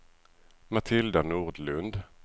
Matilda Nordlund